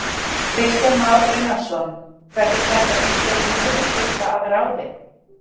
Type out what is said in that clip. Kristján Már Unnarsson: Verður þetta einhver niðursveifla að ráði?